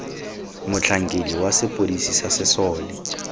motlhankedi wa sepodisi sa sesole